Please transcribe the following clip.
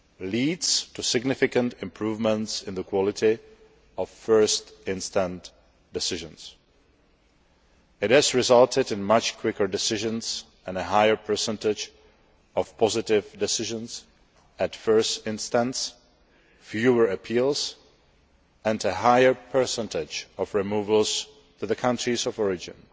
leads to significant improvements in the quality of first instance decisions. It resulted in much quicker decisions and a higher percentage of positive decisions at first instance, fewer appeals and a higher percentage of removals to countries of origin.